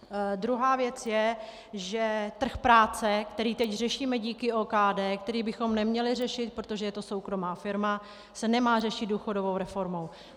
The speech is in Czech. Druhá věc je, že trh práce, který teď řešíme díky OKD, který bychom neměli řešit, protože je to soukromá firma, se nemá řešit důchodovou reformou.